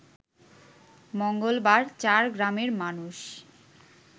মঙ্গলবার চার গ্রামের মানুষ